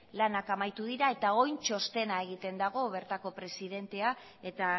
lanak amaitu dira eta orain txostena egiten dago bertako presidentea eta